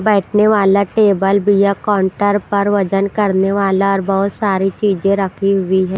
बैठने वाला टेबल बिया काउंटर पर वजन करने वाला और बहुत सारी चीजें रखी हुई है।